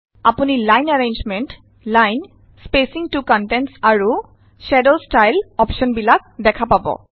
আপুনি line arrangement line spacing to contents আৰু shade style অপশ্যনবিলাক দেখা পাব